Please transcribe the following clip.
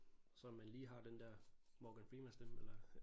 Så om man lige har den der Morgan Freeman stemme eller